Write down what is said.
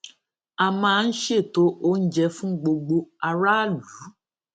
a máa ń ṣètò oúnjẹ fún gbogbo aráàlú